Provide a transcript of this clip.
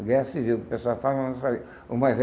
A guerra civil, que o pessoal fala mas não sabe, o mais